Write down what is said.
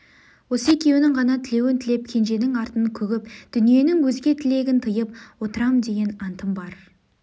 осы екеуінің ғана тілеуін тілеп кенженің артын күгіп дүниенің өзге тілегін тыйып отырам деген антым бар